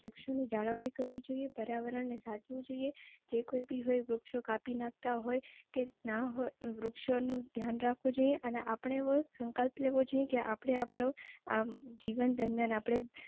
વૃક્ષો ની જણવડી કરવી જોઈએ, પર્યાવરણને સાચવું જોઈએ જે કોઈ બી હોય વૃક્ષો કાપી નાખતા હોય તે ના હોય વૃક્ષો નું ધ્યાન રખવું જોઈએ અને અપડે એવું સંકલ્પ લેવું જોઈએ કે અપડે આપડો જીવન દરમિયાન આપણે.